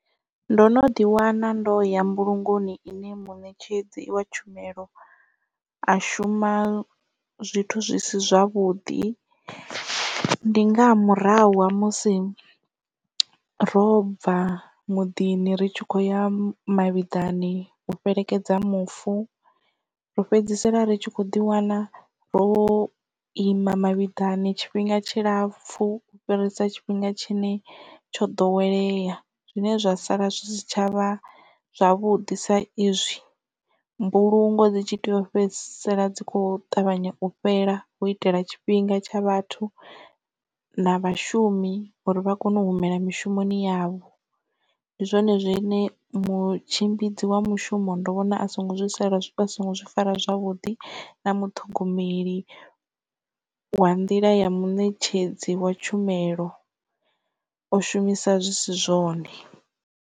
Ndo no ḓi wana ndo ya mbulungoni ine muṋetshedzi wa tshumelo a shuma zwithu zwi si zwavhuḓi, ndi nga murahu ha musi ro bva muḓini ri tshi khou ya mavhiḓani u fhelekedza mufu ro fhedzisela ri tshi khou ḓi wana ro ima mavhiḓani tshifhinga tshilapfu u fhirisa tshifhinga tshine tsho ḓowelea, zwine zwa sala zwi si tshavha zwavhuḓi sa izwi mbulungo dzi tshi tea u fhedzisela dzi kho ṱavhanya u fhela hu itela tshifhinga tsha vhathu na vhashumi uri vha kone u humela mishumoni yavho. Ndi zwone zwine mutshimbidzi wa mushumo ndo vhona a songo zwi fara zwavhuḓi na muṱhogomeli wa nḓila ya muṋetshedzi wa tshumelo o shumisa zwi si zwone.